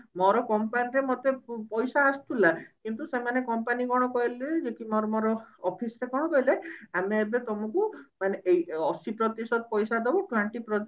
ମୋର company ରେ ମତେ ପଇସା ଆସୁଥିଲା କିନ୍ତୁ ସେମାନେ company କଣ କହିଲେ office ରେ କଣ କହିଲେ ଆମେ ଏବେ ତମକୁ ମାନେ ଏ ଅଶି ପ୍ରତିଶତ ଦବୁ twenty